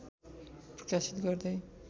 प्रकाशित गर्दै